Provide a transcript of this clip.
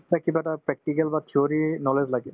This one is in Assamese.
কিবা এটা practical বা theory ৰ knowledge লাগে